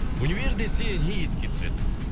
универ десе не еске түседі